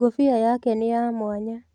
Ngũbia yake nĩ ya mwanya